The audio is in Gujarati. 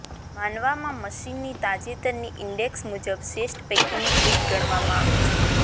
માનવામાં મશીનની તાજેતરની ઈન્ડેક્સ મુજબ શ્રેષ્ઠ પૈકીનું એક ગણવામાં આવે છે